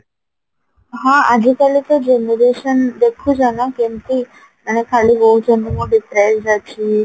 ହଁ ଆଜି କାଲୀ ତ generation ତ ଦେଖୁଚ ନାଁ କେମତି ମାନେ ଖାଲି କହୁଚନ୍ତି ମୁଁ depressed ଅଛି